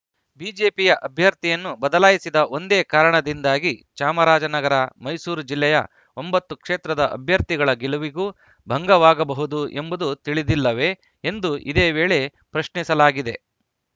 BJP ಅಭ್ಯರ್ಥಿಯನ್ನು ಬದಲಾಯಿಸಿದ ಒಂದೇ ಕಾರಣದಿಂದಾಗಿ ಚಾಮರಾಜನಗರ ಮೈಸೂರು ಜಿಲ್ಲೆಯ ಒಂಬತ್ತು ಕ್ಷೇತ್ರದ ಅಭ್ಯರ್ಥಿಗಳ ಗೆಲುವಿಗೂ ಭಂಗವಾಗಬಹುದು ಎಂಬುದು ತಿಳಿದಿಲ್ಲವೇ ಎಂದು ಇದೇ ವೇಳೆ ಪ್ರಶ್ನಿಸಲಾಗಿದೆ